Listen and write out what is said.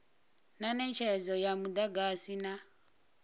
na netshedzo ya mudagasi na